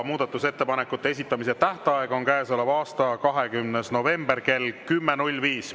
Muudatusettepanekute esitamise tähtaeg on käesoleva aasta 20. november kell 10.05.